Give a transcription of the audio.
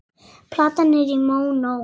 Platan er í mónó.